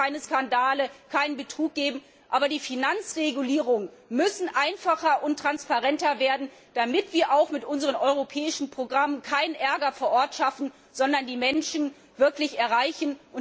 Es darf keine Skandale, keinen Betrug geben, aber die Finanzregulierungen müssen einfacher und transparenter werden, damit wir mit unseren europäischen Programmen keinen Ärger vor Ort schaffen, sondern die Menschen wirklich erreichen.